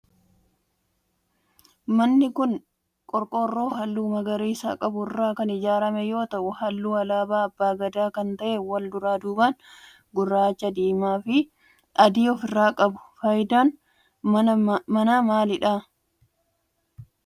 Manni kun qorqoorro halluu magariisa qabu irraa kan ijaarame yoo ta'u halluu alaabaa abbaa Gadaa kan ta'e wal duraa duuban gurraacha, diimaa fi adii of irraa qaba. Fayidaan manaa maalidha?